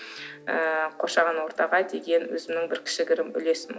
ыыы қоршаған ортаға деген өзімнің бір кішігірім үлесім